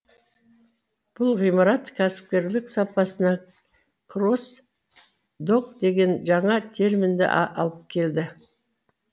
бұл ғимарат кәсіпкерлік сапасына кросс док деген жаңа терминді алып келді